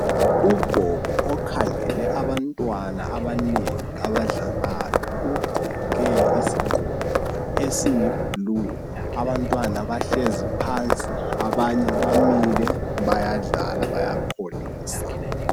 Ugogo okhangele abantwana abanengi abadlalayo ugqoke isigqoko esiy"blue" abantwana bahlezi phansi abanye bamile bayadlala bayakholisa.